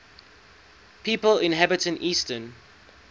people inhabiting eastern